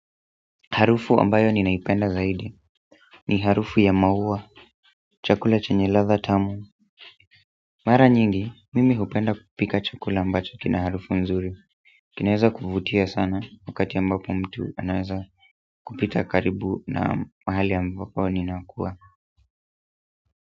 Harufu ambayo ninaipenda zaidi ni harufu ya maua, chakula chenye ladha tamu. Mara nyingi, mimi hupenda kupika chakula ambacho kina harufu nzuri. Kinaeza kuvutia sana wakati ambapo mtu anaeza kupita karibu na mahali ambapo ninakua.